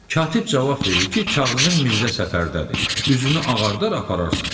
Katib cavab verir ki, kağızın Mirzə Səfərdədir, üzünü ağardar apararsan.